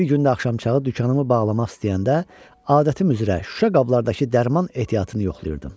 Bir gün də axşamçağı dükanımı bağlamaq istəyəndə, adətim üzrə şüşə qablardakı dərman ehtiyatını yoxlayırdım.